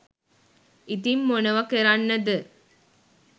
ඉතින් මොනවා කරන්න ද?